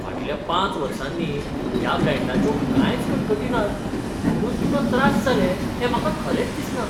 फाटल्या पांच वर्सांनी ह्या ब्रँडाच्यो कांयच कटकटी नात, म्हुणून तुका त्रास जाले हें म्हाका खरेंच दिसना.